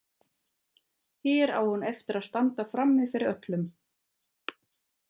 Hér á hún eftir að standa frammi fyrir öllum.